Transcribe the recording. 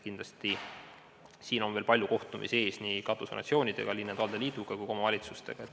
Kindlasti on siin veel palju kohtumisi ees nii katusorganisatsioonidega, Eesti Linnade ja Valdade Liiduga kui ka omavalitsustega.